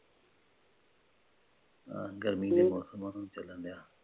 ਗਰਮੀ ਦਾ ਮੌਸਮ ਨਾਲੇ ਚੱਲਣ ਰਿਹਾ।